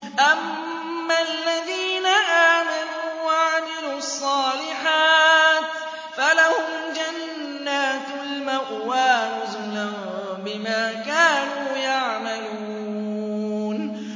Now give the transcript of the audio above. أَمَّا الَّذِينَ آمَنُوا وَعَمِلُوا الصَّالِحَاتِ فَلَهُمْ جَنَّاتُ الْمَأْوَىٰ نُزُلًا بِمَا كَانُوا يَعْمَلُونَ